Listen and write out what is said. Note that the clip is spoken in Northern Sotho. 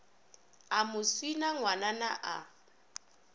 a mo swina ngwanana a